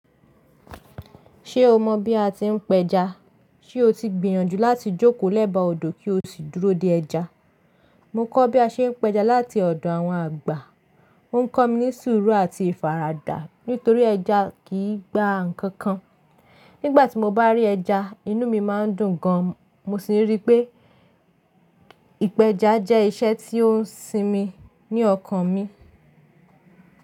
Ṣé o mọ̀ bí a ti ń pẹja? Ṣé o ti gbìyànjú láti jókòó lẹ́bàá odò kí o sì dúró dé ẹja? Mo kọ́ bí a ṣe ń pẹja láti ọ̀dọ̀ àwọn àgbà. Ó ń kọ́ mi ní sùúrù àti ìfaradà nítorí ẹja kì í gba ǹkan kan. Nígbà tí mo bá rí ẹja, inú mi má ń dùn gan. Mo sì rí pé ìpẹja jẹ́ iṣẹ́ tí ó ń sinmi ní ọkàn mi.